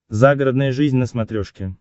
загородная жизнь на смотрешке